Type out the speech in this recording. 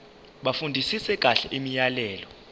bafundisise kahle imiyalelo